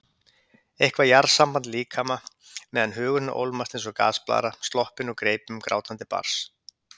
Eitthvað jarðsamband líkama meðan hugurinn ólmast eins og gasblaðra sloppin úr greipum grátandi barns.